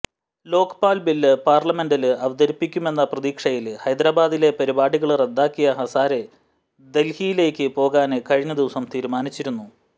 Lokpal bill പാര്ലമെന്റില് അവതരിപ്പിക്കുമെന്ന പ്രതീക്ഷയില് ഹൈദരാബാദിലെ പരിപാടികള് റദ്ദാക്കിയ ഹസാരെ ദല്ഹിയിലേക്ക് പോകാന് കഴിഞ്ഞ ദിവസം തീരുമാനിച്ചിരുന്നു